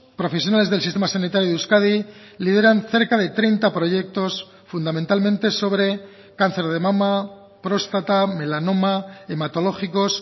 profesionales del sistema sanitario de euskadi lideran cerca de treinta proyectos fundamentalmente sobre cáncer de mama próstata melanoma hematológicos